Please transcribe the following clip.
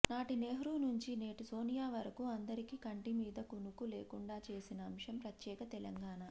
నాటి నెహ్రూ నుంచి నేటి సోనియా వరకు అందరికీ కంటి మీద కునుకు లేకుండా చేసిన అంశం ప్రత్యేక తెలంగాణ